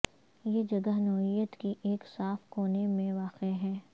یہ جگہ نوعیت کی ایک صاف کونے میں واقع ہے